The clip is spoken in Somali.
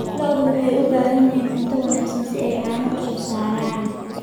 Lo'du waxay u baahan yihiin cunto wanaagsan si ay caano u soo saaraan.